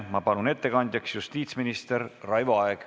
Ma palun ettekandjaks justiitsminister Raivo Aegi.